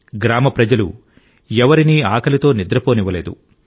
గ్రామ ప్రజలు ఎవరినీ ఆకలితో నిద్రపోనివ్వలేదు